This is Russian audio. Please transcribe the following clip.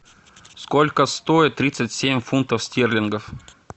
сколько стоит тридцать семь фунтов стерлингов